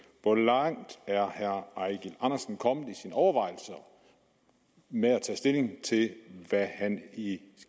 hvor langt er herre eigil andersen kommet i sine overvejelser med at tage stilling til hvad han i